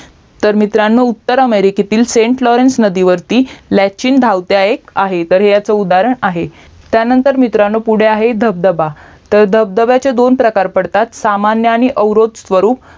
तर मित्रांनो उत्तर अमेरिकेतील सेंट लोरेंस नदी वरती लचचीन धावत्या एक आहे तर ह्याचा उदाहरण आहे त्यानंतर मित्रांनो पुढे आहे धबधबा तर धबधब्याचे दोन प्रकार पडतात सामान्य आणि अवरोध स्वरूप